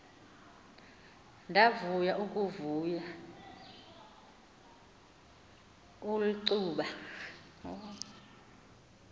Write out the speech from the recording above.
ndavuya ukuva ulcuba